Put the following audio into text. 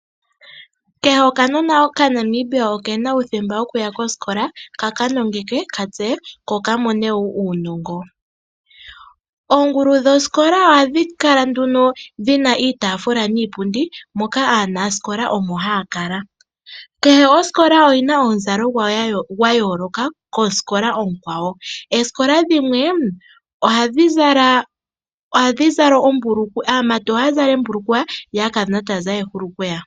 Kehe okanona oka Namibia okena uuthemba wokuya koskola ka kanongekwe katseye ko ka mone woo uunongo. Uungulu dhoskola ohadhi kala dhina iitaafula niipundi moka aanasikola omo haya kala. Kehe oskola oyina omuzalo gwawo gwa yooloka kooskola oonkwawo. Ooskola dhimwe aamati ohaya zala oombulukweya yo aakadhona taya zala oohulukweya.